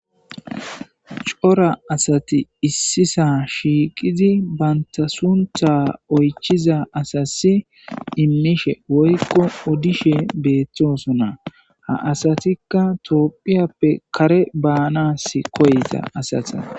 cora asati issisa shiiqizi banta suntha oychiza asasi immishe woykko odishe beettosona ha asatikka toopphiyappe kare baanas koyta asate.